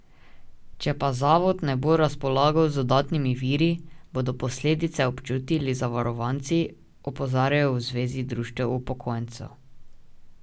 Če pa zavod ne bo razpolagal z dodatnimi viri, bodo posledice občutili zavarovanci, opozarjajo v zvezi društev upokojencev.